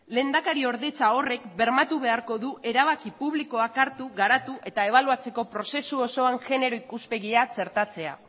lehendakariordetza horrek bermatu beharko du erabaki publikoak hartu garatu eta ebaluatzeko prozesu osoan genero ikuspegia txertatzea